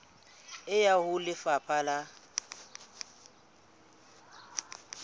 e ya ho lefapha la